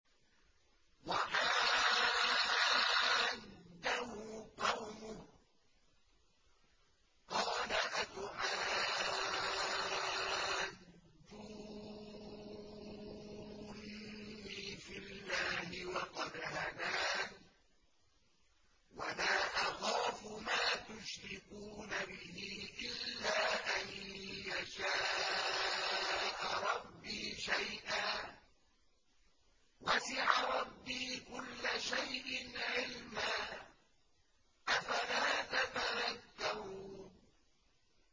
وَحَاجَّهُ قَوْمُهُ ۚ قَالَ أَتُحَاجُّونِّي فِي اللَّهِ وَقَدْ هَدَانِ ۚ وَلَا أَخَافُ مَا تُشْرِكُونَ بِهِ إِلَّا أَن يَشَاءَ رَبِّي شَيْئًا ۗ وَسِعَ رَبِّي كُلَّ شَيْءٍ عِلْمًا ۗ أَفَلَا تَتَذَكَّرُونَ